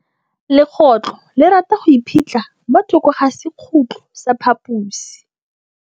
Legôtlô le rata go iphitlha mo thokô ga sekhutlo sa phaposi.